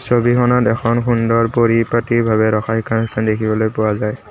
ছবিখনত এখন সুন্দৰ কৰি পাতি ভাৱে ৰখাই দেখিবলৈ পোৱা যায়।